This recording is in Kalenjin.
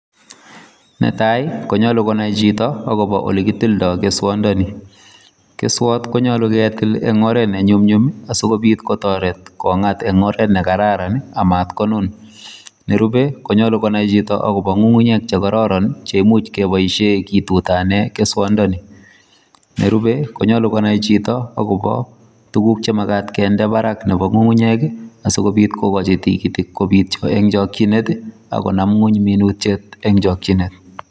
Netai koyache konai Chito olekitildo keswandani keswat koyache ketil en oret nenyumnyum sikobit kotaret kongat kengolde nekararan matkonun akoyache konai Chito kongunguyek chekororon cheimuche kobaishen keswondoni nerube konyalu konai Chito akobo tuguk chemakat akoba Barak chemakat en ngungunyek asikobit kokachin tikitik kobit en chakinet akonam ngweny minutiet en chakinet